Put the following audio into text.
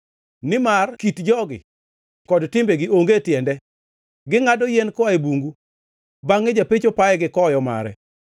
Nimar kit jogi kod timbegi onge tiende; gingʼado yien koa e bungu, bangʼe japecho paye gi koyo mare.